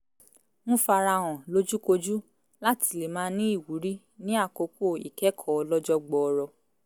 ń fara hàn lójúkojú láti lè máa ní ìwúrí ní àkókò ìkẹ́kọ̀ọ́ ọlọ́jọ́ gbọọrọ